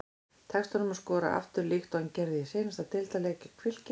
Tekst honum að skora aftur líkt og hann gerði í seinasta deildarleik gegn Fylki?